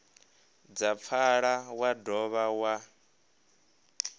dza pfala wa dovha wa